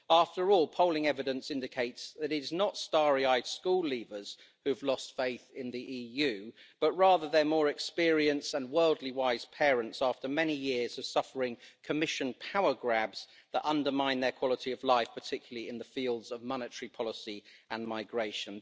After all, polling evidence indicates that it's not starry eyed school leavers who have lost faith in the EU, but rather their more experienced and worldly wise parents after many years of suffering Commission power grabs that undermine their quality of life, particularly in the fields of monetary policy and migration.